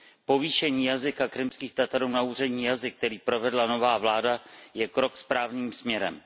Povýšení jazyka Krymských Tatarů na úřední jazyk, který provedla nová vláda, je krok správným směrem.